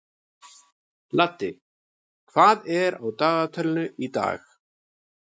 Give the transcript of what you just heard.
Laddi, hvað er á dagatalinu í dag?